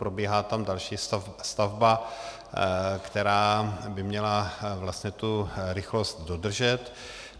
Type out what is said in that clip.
Probíhá tam další stavba, která by měla vlastně tu rychlost dodržet.